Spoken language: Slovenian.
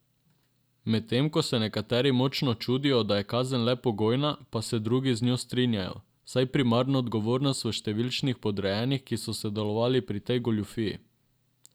Medtem ko se nekateri močno čudijo, da je kazen le pogojna, pa se drugi z njo strinjajo, saj primarno odgovornost v številnih podrejenih, ki so sodelovali pri tej goljufiji.